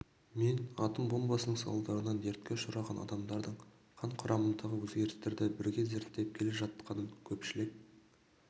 мен атом бомбасының салдарынан дертке ұшыраған адамдардың қан құрамындағы өзгерістерді бірге зерттеп келе жатқанынан көпшілік